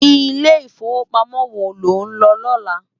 Ilé Ifówópámò wó ló n lò lòlá?